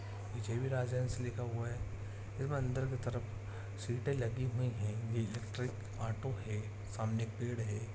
पीछे भी राजहंस लिखा हुआ है इसमें अंदर की तरफ सीटे लगी हुई हैं ये इलेक्ट्रिक ऑटो है सामने एक पेड़ है।